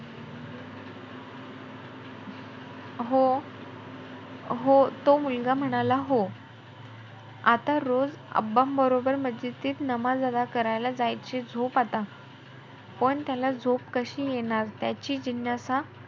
हो हो तो मुलगा म्हणाला हो आता रोज बरोबर मस्जिदीत नमाज अदा करायला जायचे झोप आता. पण त्याला झोप कशी येणार? त्याची जिज्ञासा,